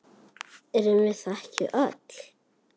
Erum við það ekki öll?